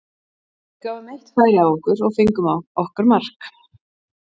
Við gáfum eitt færi á okkur og fengum á okkar mark.